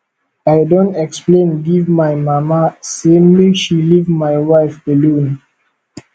i don explain give my mama sey make she leave my wife alone